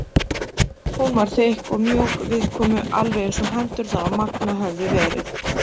Hún var þykk og mjúk viðkomu alveg eins og hendurnar á Manga höfðu verið.